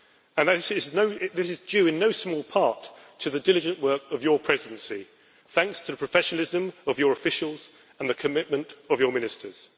and this is due in no small part to the diligent work of your Presidency, thanks to the professionalism of your officials and the commitment of your ministers.